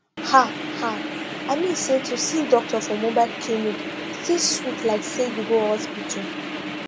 ah ah i mean say to see doctor for mobile clinic still sweet like say you go hospital